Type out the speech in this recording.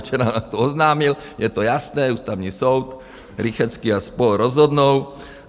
Včera nám to oznámil, je to jasné, Ústavní soud, Rychetský a spol. rozhodnou.